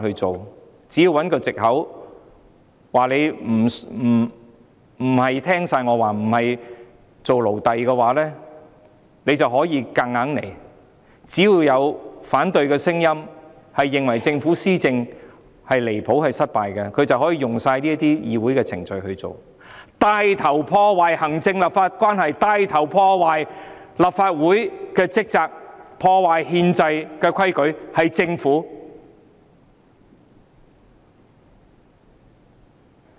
政府只要找一個藉口，說我們不是全面聽他們的話、不願做他們的奴隸，政府便可以硬來；只要出現反對聲音認為政府離譜和失敗，政府便可以引用這些議會程序，帶頭破壞行政立法關係、帶頭破壞立法會職責，破壞憲制規矩的是政府。